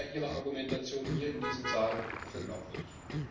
Halten Sie da Ihre Argumentation hier in diesem Saal für glaubwürdig?